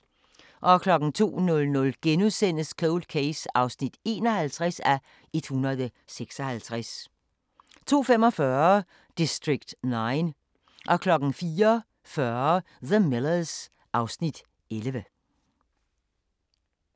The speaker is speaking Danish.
02:00: Cold Case (51:156)* 02:45: District 9 04:40: The Millers (Afs. 11)